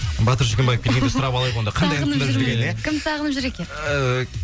батыр шүкембаев келерде сұрап алайық онда кандай ән тыңдап жүр екен ия кім сағынып жүр екен ыыы